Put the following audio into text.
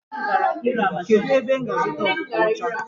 Kedụ ebe m ga a zụta ọkụkọ ọcha?